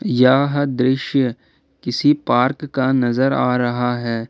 यह दृश्य किसी पार्क का नजर आ रहा है।